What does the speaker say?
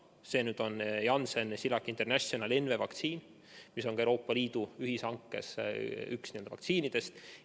See on Janssen-Cilag International NV vaktsiin, mis on ka Euroopa Liidu ühishankes üks vaktsiinidest.